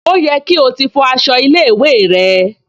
Ó yẹ kí o ti fọ aṣọ ilé-ìwé rẹ?